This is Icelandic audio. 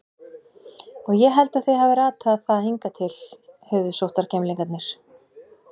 Og ég held þið hafið ratað á það hingað til, höfuðsóttargemlingarnir.